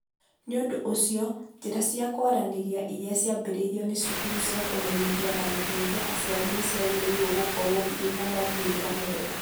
Nĩ ũndũ ũcio, njĩra cia kwaranĩria iria ciambĩrĩirio nĩ cukuru cia kũmenyithia na gũteithia aciari nĩ ciagĩrĩirũo gũkorũo irĩ na moimĩrĩro mega.